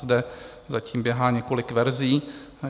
Zde zatím běhá několik verzí.